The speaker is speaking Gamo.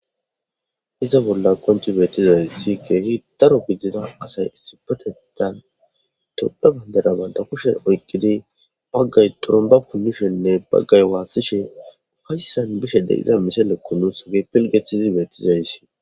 Iza bolla qoncci beehthidayssi keehi daro gidida asay issippetheththan tophphe banddiraa banththa kushen oyqqidi baggay xurumbba punnisheeninne baggay waassishee ufayssan bishe de7iza misilekoo nus pil7eththidi beeththizayssi.